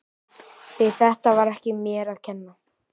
Því þetta var ekki mér að kenna.